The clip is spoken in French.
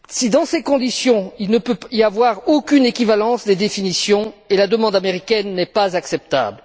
Dans ces conditions, il ne peut y avoir aucune équivalence des définitions et la demande américaine n'est pas acceptable.